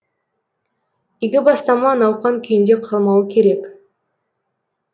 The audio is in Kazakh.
игі бастама науқан күйінде қалмауы керек